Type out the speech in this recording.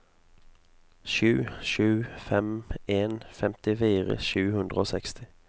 sju sju fem en femtifire sju hundre og seksti